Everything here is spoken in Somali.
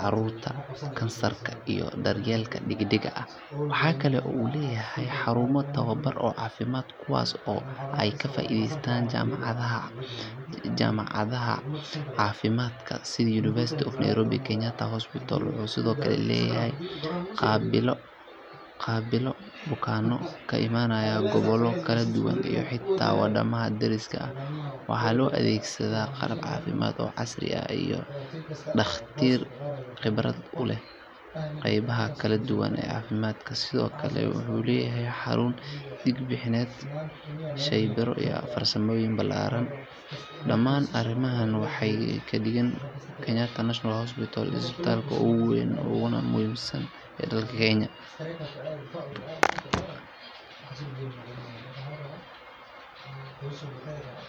carruurta, kansarka, iyo daryeelka degdega ah. Waxa kale oo uu leeyahay xarumo tababar oo caafimaad kuwaas oo ay ka faa’iidaystaan jaamacadaha caafimaadka sida University of Nairobi. Kenyatta Hospital wuxuu sidoo kale qaabilaa bukaanno ka imanaya gobollo kala duwan iyo xitaa wadamada dariska ah. Waxaa la adeegsadaa qalab caafimaad oo casri ah iyo dhakhaatiir khibrad u leh qeybaha kala duwan ee caafimaadka. Sidoo kale wuxuu leeyahay xarun dhiig-bixineed, shaybaarro iyo farmasiyo ballaaran. Dhammaan arrimahan waxay ka dhigayaan Kenyatta National Hospital isbitaalka ugu weyn uguna muhiimsan ee dalka Kenya.